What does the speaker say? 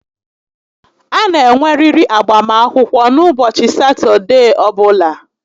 A na enweriri agbam akwụkwọ n'ụbọchị Satọdee ọbụla